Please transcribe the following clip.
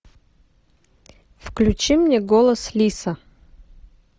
включи мне голос лиса